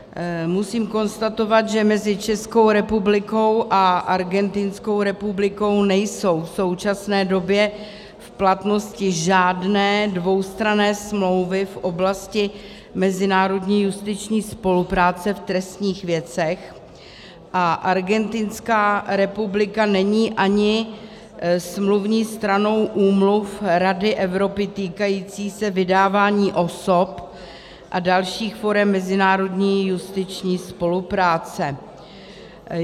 Musím konstatovat, že mezi Českou republikou a Argentinskou republikou nejsou v současné době v platnosti žádné dvoustranné smlouvy v oblasti mezinárodní justiční spolupráce v trestních věcech a Argentinská republika není ani smluvní stranou úmluv Rady Evropy týkajících se vydávání osob a dalších forem mezinárodní justiční spolupráce.